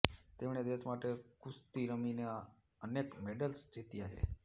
તેમણે દેશ માટે કુસ્તી રમીને અનેક મેડલ્સ જીત્યા છે